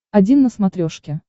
один на смотрешке